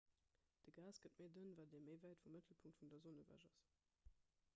de gas gëtt méi dënn wat ee méi wäit vum mëttelpunkt vun der sonn ewech ass